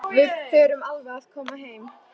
Við förum alveg að koma heim.